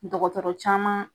Dɔgɔtɔrɔ caman.